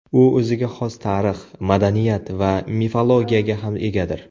U o‘ziga xos tarix, madaniyat va mifologiyaga ham egadir.